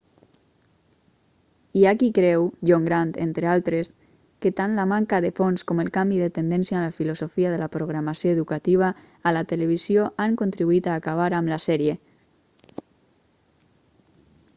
hi ha qui creu john grant entre d'altres que tant la manca de fons com el canvi de tendència en la filosofia de la programació educativa a la televisió han contribuït a acabar amb la sèrie